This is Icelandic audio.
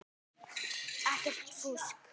Ekkert fúsk.